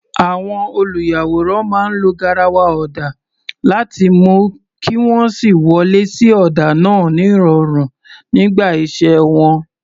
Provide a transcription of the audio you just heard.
Àwọn olùyàwòrán máa ń lo garawa ọ̀dà láti mú kí wọ́n sì wọlé sí ọ̀dà náà nírọ̀rùn nígbà iṣẹ́ wọn.